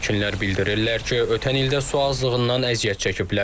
Sakinlər bildirirlər ki, ötən ildə su azlığından əziyyət çəkiblər.